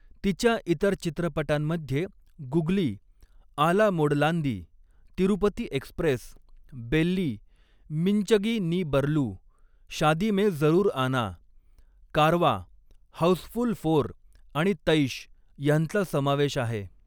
तिच्या इतर चित्रपटांमध्ये गुगली, आला मोडलांदी, Tirupati Express, Belli, Minchagi Nee Baralu, Shaadi Mein Zaroor Aana, Karwaan, Housefull four आणि तैश् ह्यांचा समावेश आहे.